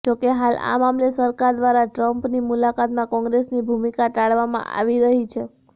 જોકે હાલ આ મામલે સરકાર દ્રારા ટ્રમ્પની મુલાકાતમાં કોંગ્રેસની ભુમિકા ટાળવામાં આવી રહી છે